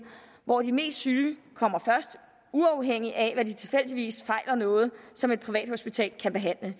hvor de mest syge kommer først uafhængigt af om de tilfældigvis fejler noget som et privathospital kan behandle